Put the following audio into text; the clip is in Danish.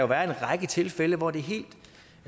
være en række tilfælde hvor det er helt